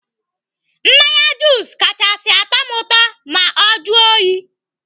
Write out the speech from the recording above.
Mmanya jus kachasị atụ ụtọ ma ọ juo oyi.